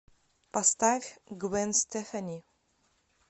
поставь гвен стефани